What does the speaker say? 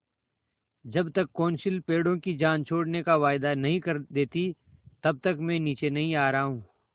जब तक कौंसिल पेड़ों की जान छोड़ने का वायदा नहीं कर देती तब तक मैं नीचे नहीं आ रहा हूँ